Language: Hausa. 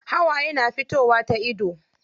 Hawaye na fitowa ta ido.